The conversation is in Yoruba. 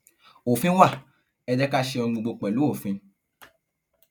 òfin wa ẹ jẹ ká ṣe ohun gbogbo pẹlú òfin